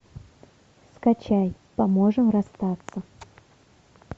скачай поможем расстаться